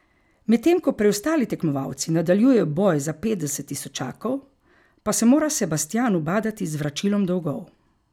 Medtem ko preostali tekmovalci nadaljujejo boj za petdeset tisočakov, pa se mora Sebastijan ubadati z vračilom dolgov.